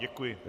Děkuji.